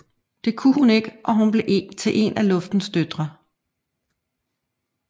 Det kunne hun ikke og hun blev til en af Luftens døtre